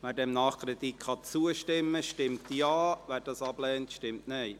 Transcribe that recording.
Wer diesem Nachkredit zustimmen kann, stimmt Ja, wer diesen ablehnt, stimmt Nein.